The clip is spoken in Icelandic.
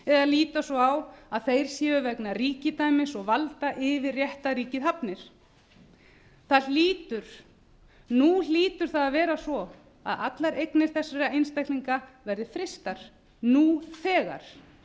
eða líta svo á að þeir séu vegna yfirréttarríkis og valda yfir réttarríki hafnir nú hlýtur það að vera svo að allar eignir þessara einstaklinga verði frystar nú þegar